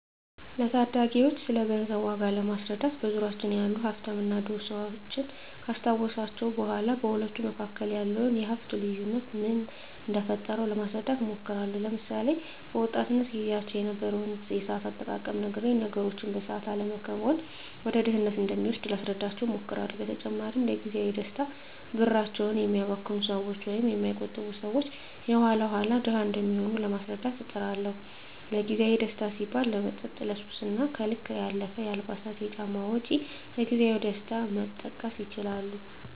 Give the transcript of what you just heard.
ለታዳጊወች ስለገንዘብ ዋጋ ለማስረዳት በዙሪያችን ያሉ ሀፍታምና ድሀ ሰወችን ካስታወስኳቸው በኋ በሁለቱ መካከል ያለውን የሀፍት ልዮነት ምን እደፈጠረው ለማስረዳት እሞክራለሁ። ለምሳሌ፦ በወጣትነት ግዚያቸው የነበረውን የሰአት አጠቃቀም ነግሬ ነገሮችን በሰአት አለመከወን ወደ ድህነት እንደሚወስድ ላስረዳቸው እሞክራለው። በተጨማሪም ለግዚያዊ ደስታ ብራቸውን የሚያባክኑ ሰወች ወይም የማይቆጥቡ ሰወች የኋላ ኋላ ድሀ እንደሚሆኑ ለማስረዳት እጥራለሁ። ለግዜአዊ ደስታ ሲባል ለመጠጥ፣ ለሱስ እና ከልክ ያለፈ የአልባሳትና ጫማ ወጭ ከግዜያዊ ደስታ መጠቀስ ይችላሉ።